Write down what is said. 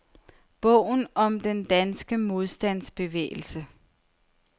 Bogen om den danske modstandsbevægelse.